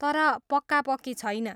तर पक्कापक्की छैन।